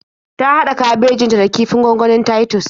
Ta haɗa kabejin ta da kifin gwangwani na Titus